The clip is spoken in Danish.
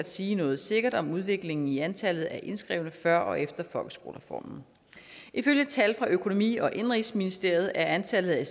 sige noget sikkert om udviklingen i antallet af indskrevne før og efter folkeskolereformen ifølge tal fra økonomi og indenrigsministeriet er antallet af